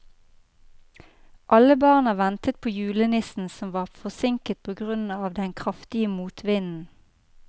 Alle barna ventet på julenissen, som var forsinket på grunn av den kraftige motvinden.